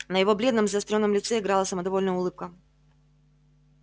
на его бледном заострённом лице играла самодовольная улыбка